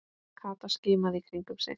Kata skimaði í kringum sig.